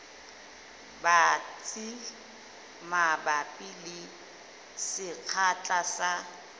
batsi mabapi le sekgahla sa